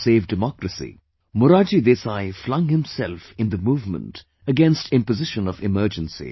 To save democracy, Morarji Desai flung himself in the movement against imposition of Emergency